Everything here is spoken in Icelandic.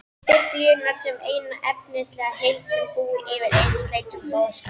Biblíunnar sem eina efnislega heild sem búi yfir einsleitum boðskap.